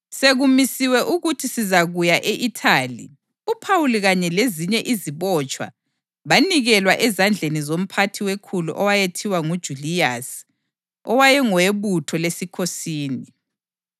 Sekumisiwe ukuthi sizakuya e-Ithali, uPhawuli kanye lezinye izibotshwa banikelwa ezandleni zomphathi wekhulu owayethiwa nguJuliyasi owaye ngoweButho leSikhosini.